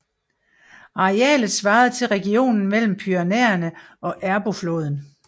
Arealet svarede til regionen mellem Pyrenæerne og Ebro floden